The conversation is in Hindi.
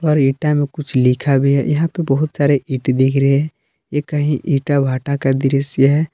और ईटा में कुछ लिखा भी है यहां पे बहुत सारे ईट दिख रहे है ये कही ईटा भाटा का दृश्य है।